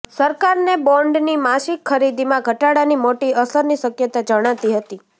સરકારને બોન્ડની માસિક ખરીદીમાં ઘટાડાની મોટી અસરની શક્યતા જણાતી નથી